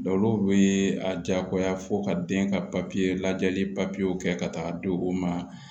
olu bɛ a diyagoya fo ka den ka lajɛli papiyew kɛ ka taga di o ma